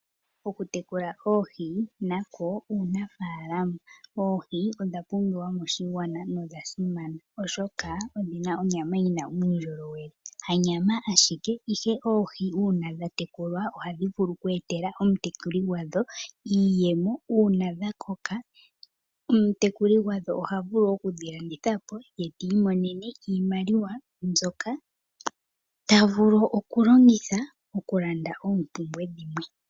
Okutekula oohi nako uunafalama. Oohi odhasimana nodha pumbiwa moshigwana oshoka odhina onyama yina uundjolowele. Hanyama ayike ihè oohi ohadhi vulu oku eteĺa omutekuli gwadho iiyemo uuna dhakoka omutekuli gwadho oha vulu okudhilanditha eta mono iimaliwa mbyoka ta vulu okulanditha oompumbwe dhe.